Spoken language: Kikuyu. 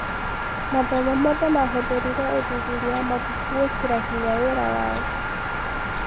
Mathomo mothe mahũthĩrire ũthuthuria wa mabuku gũĩkĩra hinya wĩra wao.